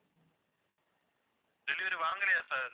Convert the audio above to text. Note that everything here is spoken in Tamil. delivery வாங்கலையா sir